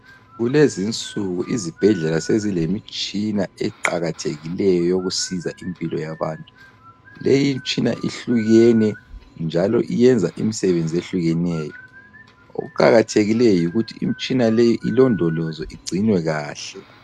Kulezinsuku izibhedlela sezilemitshina eqakathekileyo eyokusiza impilo yabantu. Leyimtshina ihlukene njalo iyenza imsebenzi ehlukeneyo. Okuqakathekileyo yikuthi imtshina leyi ilondolozwe igcinwe kahle.